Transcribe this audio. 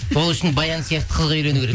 сол үшін баян сияқты қызға үйлену керек